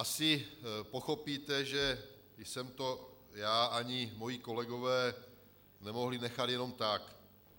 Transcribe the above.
Asi pochopíte, že jsem to já ani moji kolegové nemohli nechat jenom tak.